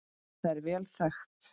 Það er vel þekkt.